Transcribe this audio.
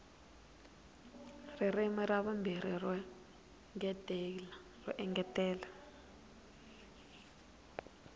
ririmi ra vumbirhi ro engetela